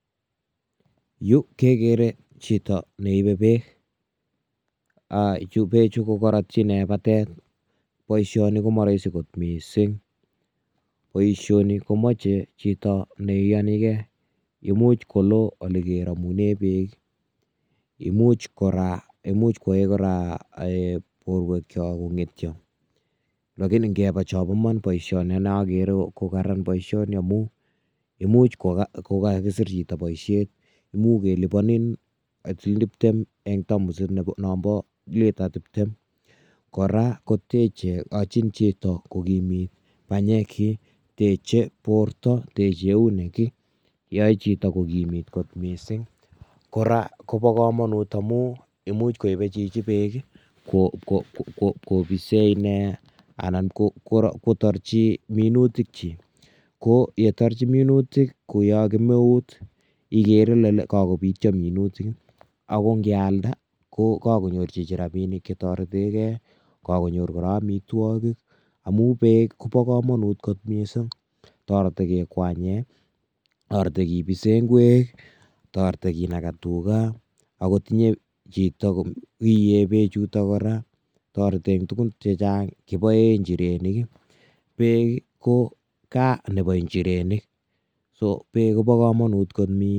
Yu kekere chito ne ibe peek, um peechu ko karatyi ine batet, boisioni ko ma rahisi kot mising, boisioni komoche chito ne iyonikei, imuch koloo ole keramune peek ii, imuch kora kwae um borwekcho kongetyo, [cslakini ngeba chobo iman boisioni ane akere ko kararan boisioni amu imuch kakiksir chito boisiet, imuch keliponin siling tiptem eng tamusit nombo lita tiptem, kora koyachin chito kokimit panyekchi, teche borta, teche eunek ii, yae chito kokimit kot mising, kora kobo kamanut amu imuch koibe chichi peek ii ipkobise ine anan ipkotorchi minutikchik, ko yetorchi minutik kou yo kemeut, ikere ile kakobityo minutik, ako ngealda ko kakonyor chichi rabiinik che toretekei, kakonyor kora amitwogik, amu peek kobo kamanut kot mising, torete kekwanye, torete kebise ngwek, torete kenaka tuga akot inye chito iee peechuto kora, toreti eng tugun che chang, kiboe njirenik ii, peek ii ko gaa nebo njirenik, so peek koba kamanut kot mising.